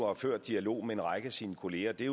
og ført dialog med en række af sine kollegaer det